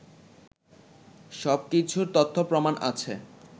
সবকিছুর তথ্য প্রমাণ আছে